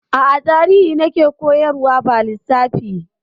A'a, Tarihi na ke koyarwa ba Lissafi.